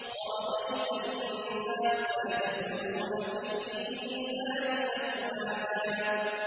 وَرَأَيْتَ النَّاسَ يَدْخُلُونَ فِي دِينِ اللَّهِ أَفْوَاجًا